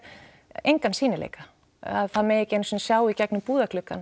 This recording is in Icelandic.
engan sýnileika að það megi ekki einu sinni sjá í gegnum